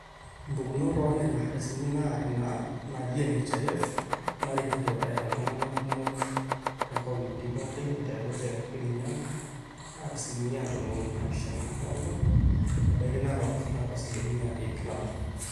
impukunot oonena ardasini naa ina naji nhif narikito eeta iltung'anak kumok toonkauntini pooki aiteru te kirinyaga naata asilimia ntomoni naapishana oong'wan nebaiki narok naata asilimia ip nabo